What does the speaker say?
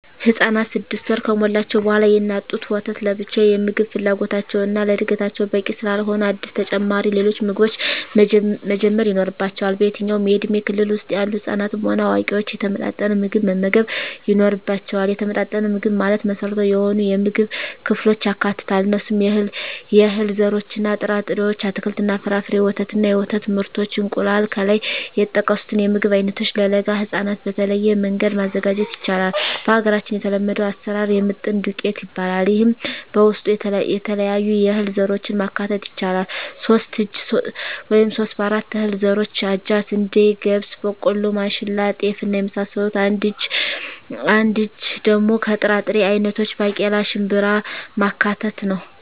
ህፃናት ስድስት ወር ከሞላቸዉ በኋላ የእናት ጡት ወተት ለብቻዉ የምግብ ፍላጎታቸዉን እና ለእድገታቸዉ በቂ ስላልሆነ አዲስ ተጨማሪ ሌሎች ምግቦችን መጀመር ይኖሮባቸዋል በየትኛዉም የእድሜ ክልል ዉስጥ ያሉ ህፃናትም ሆነ አዋቂዎች የተመጣጠነ ምግብ መመገብ ይኖርባየዋል የተመጣጠነ ምግብ ማለት መሰረታዊ የሆኑየምግብ ክፍሎችን ያካትታል እነርሱም - የእህል ዘሮችእና ጥራጥሬዎች - አትክልትና ፍራፍሬ - ወተት እና የወተት ምርቶች - እንቁላል ከላይ የተጠቀሱትን የምግብ አይነቶች ለለጋ ህፃናት በተለየ መንገድ ማዘጋጀት ይቻላል በሀገራችን የተለመደዉ አሰራር የምጥን ዱቄት ይባላል ይሄም በዉስጡ የተለያዩ የእህል ዘሮችን ማካተት ይቻላል ሶስት እጂ (3/4) ከእህል ዘሮች አጃ፣ ስንዴ፣ ገብስ፣ ቦቆሎማሽላ፣ ጤፍ እና የመሳሰሉት አንድ እጂ(1/4)ደሞ ከጥራጥሬ አይነቶች ባቄላ፣ ሽንብራማካተት ነዉ